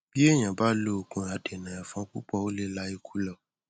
bí èèyàn bá lo òògùn adènà ẹfọn púpọ ó lè la ikú lọ